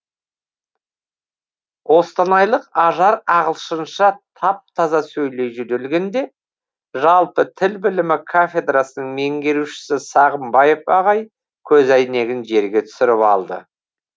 қостанайлық ажар ағылшынша тап таза сөйлей жөнелгенде жалпы тіл білімі кафедрасының меңгерушісі сағымбаев ағай көзәйнегін жерге түсіріп алды